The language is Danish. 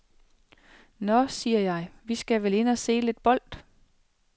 Nåh, siger jeg, vi skal vel ind og se lidt bold.